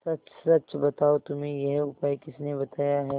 सच सच बताओ तुम्हें यह उपाय किसने बताया है